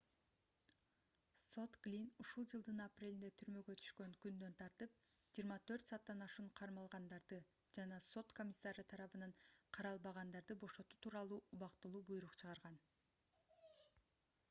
сот глинн ушул жылдын апрелинде түрмөгө түшкөн күндөн тартып 24 сааттан ашуун кармалгандарды жана сот комиссары тарабынан каралбагандарды бошотуу тууралуу убактылуу буйрук чыгарган